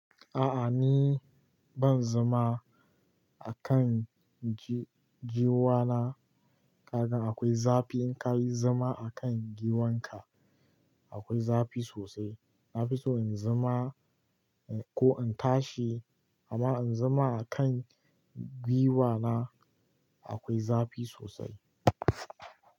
A'a ni ban zama akan ji-jiwana. Kaga akwai zafi in kayi zama akan giwanka, akwai zafi sosai. Nafiso in zama ko in tashi amma in zama akan gwiwa na akwai zafi sosai.